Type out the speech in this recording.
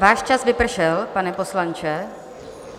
Váš čas vypršel, pane poslanče.